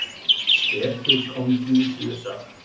Speki Konfúsíusar.